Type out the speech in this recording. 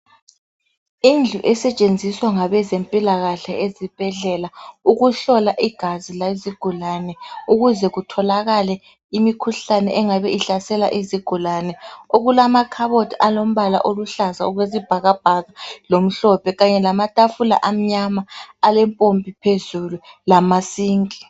Indlu esetshenziswa ngabezempilakahle ezibhedlela ukuhlola igazi lezigulane ukuze kutholakale imikhuhlane engabe ihlasela izigulane. Okulamakhabothi alombala oluhlaza okwesibhakabhaka lomhlophe kanye lamatafula amnyana alempompi phezulu lama 'Sink'.